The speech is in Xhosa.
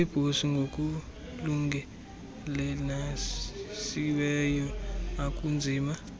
rooibos ngokulungelelanisiweyo akunzima